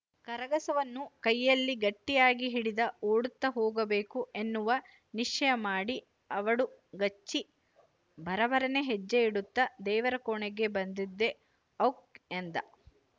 ಕರಗಸವನ್ನು ಕೈಯಲ್ಲಿ ಗಟ್ಟಿಯಾಗಿ ಹಿಡಿದ ಓಡುತ್ತ ಹೋಗಬೇಕು ಎನ್ನುವ ನಿಶ್ಚಯಮಾಡಿ ಅವಡುಗಚ್ಚಿ ಭರಭರನೇ ಹೆಜ್ಜೆಯಿಡುತ್ತ ದೇವರ ಕೋಣೆಗೆ ಬಂದದ್ದೇ ಔಕ್ ಎಂದ